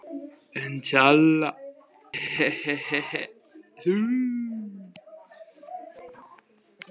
Heimir Már Pétursson: Hvernig fara svona viðræður fram?